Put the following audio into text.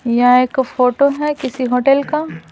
यहा एक फोटो है किसी होटल का।